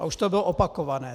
A už to bylo opakované.